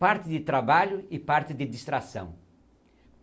Parte de trabalho e parte de distração.